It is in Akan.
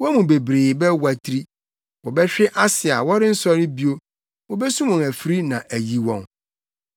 Wɔn mu bebree bɛwatiri; wɔbɛhwe ase a wɔrensɔre bio, wobesum wɔn afiri na ayi wɔn.”